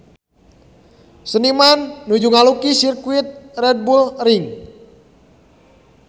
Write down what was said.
Seniman nuju ngalukis Sirkuit Red Bull Ring